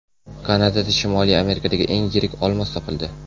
Kanadada Shimoliy Amerikadagi eng yirik olmos topildi.